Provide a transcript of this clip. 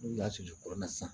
N'u y'a susu kurun na sisan